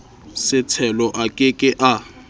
setshelo a ke ke a